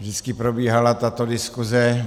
Vždycky probíhala tato diskuze.